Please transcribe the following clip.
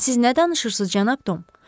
Siz nə danışırsız, cənab Tom?